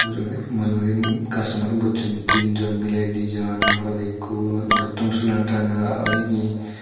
mujunge mujungedi customers bojchon tinjon miley dinjon morot ikko morotto sulan ranga oyegi.